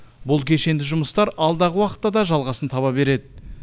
бұл кешенді жұмыстар алдағы уақытта да жалғасын таба береді